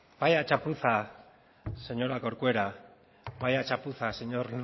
vaya chapuza señora corcuera vaya chapuza señor